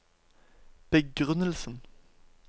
begrunnelsen